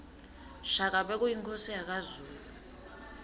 shaka bekuyinkhosi yakazulu